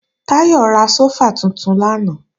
Táyọ̀ ra sófà tuntun lánàá